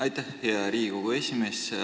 Aitäh, hea Riigikogu esimees!